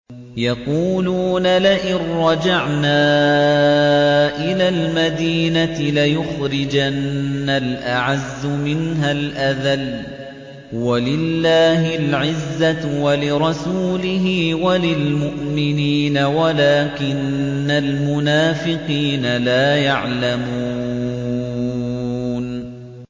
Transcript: يَقُولُونَ لَئِن رَّجَعْنَا إِلَى الْمَدِينَةِ لَيُخْرِجَنَّ الْأَعَزُّ مِنْهَا الْأَذَلَّ ۚ وَلِلَّهِ الْعِزَّةُ وَلِرَسُولِهِ وَلِلْمُؤْمِنِينَ وَلَٰكِنَّ الْمُنَافِقِينَ لَا يَعْلَمُونَ